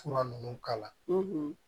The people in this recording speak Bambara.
Fura ninnu k'a la